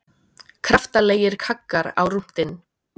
Kraftalegir kaggar á rúntinn